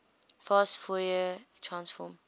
fast fourier transform